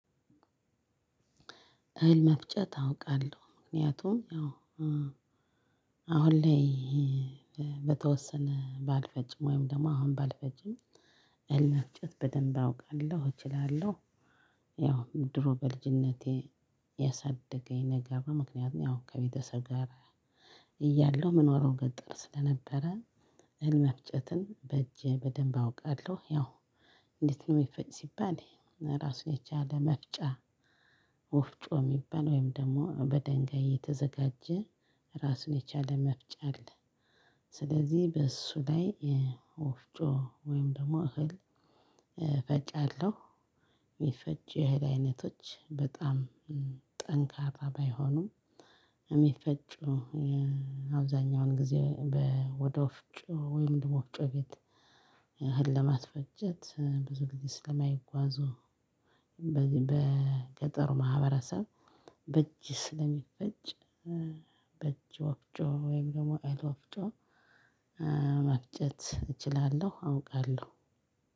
እህል መፍጨት አውቃለሁ ምክንያቱም ያው አሁን ላይ በተወሰነ ባልፈጭም ወይም ደግሞ አሁን ባልፈጭም እልህ መፍጨት በደንብ አውቃለሁ እችላለሁ ያው ድሮ በልጅነቴ ያሳደገኝ ነገር ምክንያቱም ያው ከቤተሰብ ጋር እያለሁ እምኖረው ገጠር ስለነበረ እህል መፍጨትን በእጄ በደንብ አውቃለሁ፤ ያው እንዴት ነው የሚፈጭ ሲባል? ራሱን የቻለ መፍጫ ወፍጮ እሚባል ወይም ደግሞ ደሞ በደንጋይ የተዘጋጀ ራሱን የቻለ መፍጫ አለ። ስለዚህ በእሱ ላይ ወፍጮ ወይም ደግሞ እህል እፈጫለሁ። ሚፈጭ የእህል አይነቶች በጣም ጠንካራ ባይሆኑም እሚፈጩ አብዛኛውን ጊዜ ወደ ወፍጮ ወይም ወፍጮ ቤት እህል ለማስፈጨት ብዙ ጊዜ ስለማይጓዙ። በገጠሩ ማህበረሰብ በእጅ ስለሚፈጭ። በእጅ ወፍጮ ወይም ደግሞ እህል ወፍጮ መፍጨት እችላለሁ አውቃለሁ።